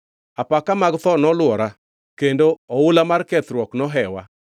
Apaka mag tho nolwora; kendo oula mar kethruok nohewa.